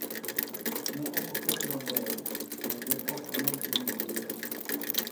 ne ok oket maber kendo ok onyal timo yiero